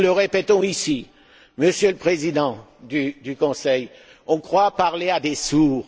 Nous le répétons ici, Monsieur le Président du Conseil, on croit parler à des sourds.